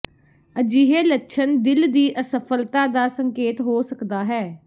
ਅਜਿਹੇ ਲੱਛਣ ਦਿਲ ਦੀ ਅਸਫਲਤਾ ਦਾ ਸੰਕੇਤ ਹੋ ਸਕਦਾ ਹੈ